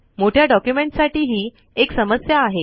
मोठ्या ड़ॉक्यूमेंटज साठी हि एक समस्या आहे